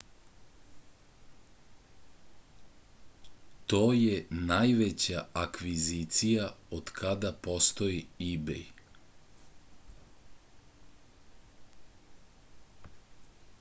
to je najveća akvizicija otkada postoji ibej